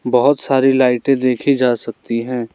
बहोत सारी लाइटे देखी जा सकती हैं।